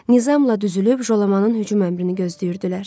Nizamla düzülüb Jolamanın hücum əmrini gözləyirdilər.